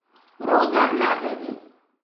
Roza nageljni.